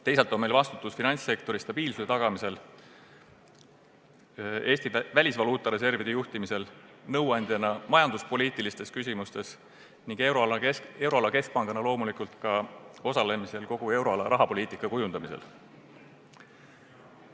Teisalt on meil vastutus finantssektori stabiilsuse tagamisel, Eesti välisvaluuta reservide juhtimisel, nõuandjana majanduspoliitilistes küsimustes ning euroala keskpangana loomulikult ka osalemisel kogu euroala rahapoliitika kujundamisel.